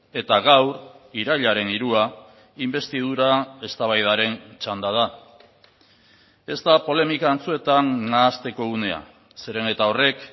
eta gaur irailaren hirua inbestidura eztabaidaren txanda da ez da polemika antzuetan nahasteko unea zeren eta horrek